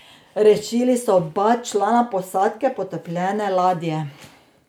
Rešili so oba člana posadke potopljene ladje.